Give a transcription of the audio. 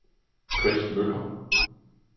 Chris Møller